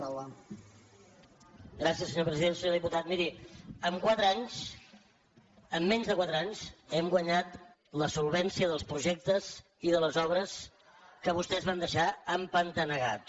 senyor diputat miri en quatre anys en menys de quatre anys hem guanyat la solvència dels projectes i de les obres que vostès van deixar empantanegats